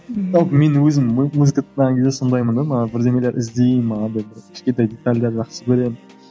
ол менің өзімнің музыка тыңдаған кезде сондаймын да маған бірдеңелер іздеймін бір кішкентай детальдерді жақсы көремін